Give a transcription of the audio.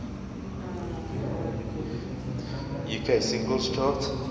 uk singles chart